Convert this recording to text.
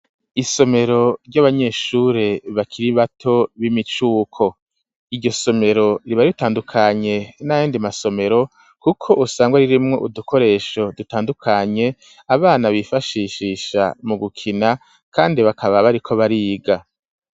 Isomero ry'abanyeshure bakira bato b'imicuko, iryo somero riba ritandukanye nayandi masomero kuko usanga ririmwo udukoresho dutandukanye abana bifashishisha mu gukina kandi bakaba bariko bariga.